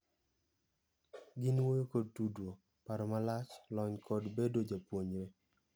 Gin wuoyo kod tudruok, paro malach, lony kod bedo japuonjnre.